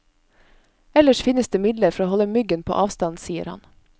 Ellers finnes det midler for å holde myggen på avstand, sier han.